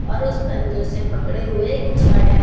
और उस पंजो से पकड़े हुए छड़ है।